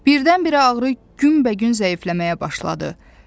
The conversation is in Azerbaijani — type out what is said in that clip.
Birdən-birə ağrı günbəgün zəifləməyə başladı.